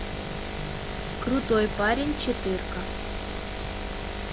крутой парень четырка